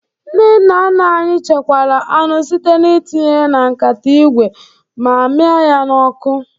Ndị nna nna anyị chekwara anụ site n'itinye ya na nkata ígwè ma miaa ya na-ọkụ